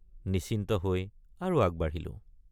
নিশ্চিন্ত হৈ আৰু আগবাঢ়িলোঁ।